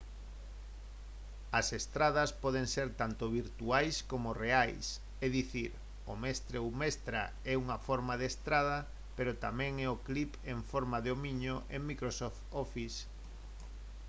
as estadas poden ser tanto virtuais coma reais é dicir o mestre ou mestra é unha forma de estada pero tamén o é o clip en forma de homiño en microsoft office